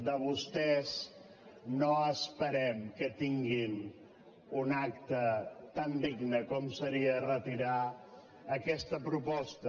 de vostès no esperem que tinguin un acte tan digne com seria retirar aquesta proposta